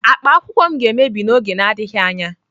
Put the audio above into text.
Akpa akwụkwọ m ga-emebi n'oge na-adịghị anya.